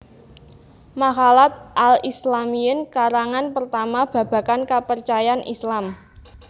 Maqalat al Islamiyyin karangan pertama babagan kapercayan Islam